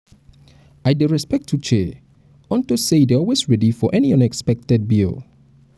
i dey respect uche unto say e dey always ready for any unexpected bill